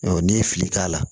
n'i ye fili k'a la